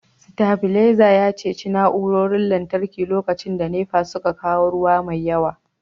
stabilizer ya ceci na'urorin lantarki lokacin da NEPA ta kawo ruwa mai yawa